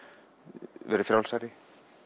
verið frjálsari